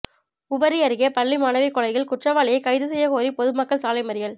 உவரி அருகே பள்ளி மாணவி கொலையில்குற்றவாளியை கைது செய்யக் கோரிபொதுமக்கள் சாலை மறியல்